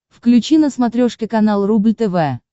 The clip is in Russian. включи на смотрешке канал рубль тв